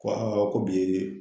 Ko ko bi yee